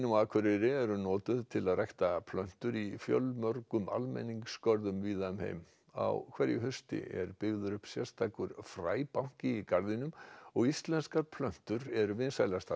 Akureyri eru notuð til að rækta plöntur í fjölmörgum almenningsgörðum víða um heim á hverju hausti er byggður upp sérstakur fræbanki í garðinum og íslenskar plöntur eru vinsælastar